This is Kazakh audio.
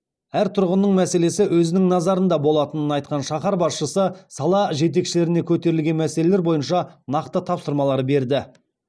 әр тұрғынның мәселесі өзінің назарында болатынын айтқан шаһар басшысы сала жетекшілеріне көтерілген мәселелер бойынша нақты тапсырмалар берді